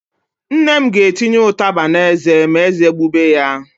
Nne m ga-etinye ụtaba n'eze ma ézé gbube ya.